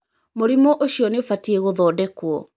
Mũrimũ uciũ nĩ ũbatiĩ kũthondekwo.